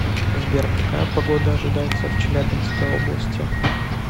сбер какая погода ожидается в челябинской области